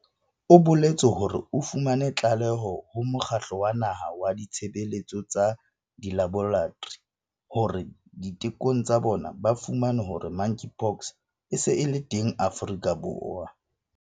O boletse hore o fumane tlaleho ho Mokgatlo wa Naha wa Ditshebeletso tsa Dilaboratori hore ditekong tsa bona ba fumane hore Monkeypox e se e le teng Afrika Borwa.